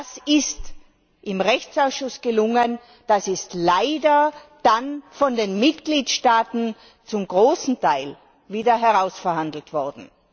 Das ist im Rechtsausschuss gelungen, das ist leider dann von den Mitgliedstaaten zum großen Teil wieder herausverhandelt worden.